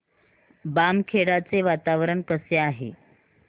बामखेडा चे वातावरण कसे आहे